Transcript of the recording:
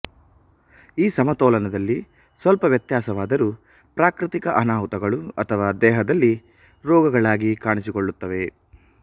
ಈ ಸಮತೋಲನದಲ್ಲಿ ಸ್ವಲ್ಪ ವ್ಯತ್ಯಾಸವಾದರೂ ಪ್ರಾಕೃತಿಕ ಅನಾಹುತಗಳು ಅಥವಾ ದೇಹದಲ್ಲಿ ರೋಗಗಳಾಗಿ ಕಾಣಿಸಿಕೊಳ್ಳುತ್ತವೆ